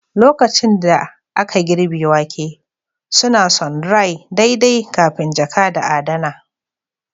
lokacin da aka girbe wake, suna sundry daidai kafin jaka da adana